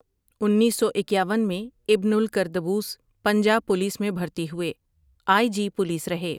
انیس سو اکیاون میں ابن الکردبوس پنجاب پولیس میں بھرتی ہوئے ،آئی جی پولیس رہے ۔